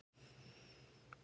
Bæði ólust upp í sveit.